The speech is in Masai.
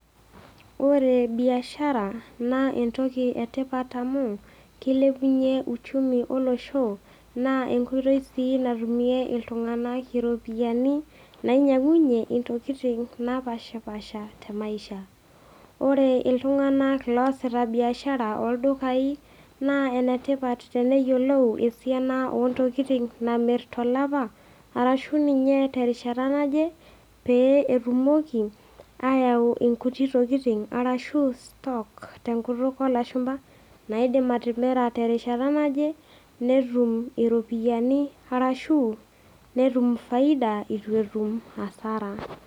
Ore biashara naa entoki e tipat amu, keilepunye uchumi olosho, naa enkoitoi sii natumie iltung'ana iropiani nainyang'unye intokitin napaashipaasha te maisha. Ore iltung'ana oasita biashara ooldukai, naa enetipat teneyiolou esiana o ntokitin namir tolapa, arashu ninye te erishata naje, pee etumoki aayau inkuti tokitin arashu stock te enkutuk o lashumba naidim atimira te erishata naje, netum iropiani, arashu netum faida eitu etum hasara.